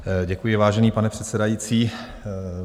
Děkuji, vážený pane předsedající.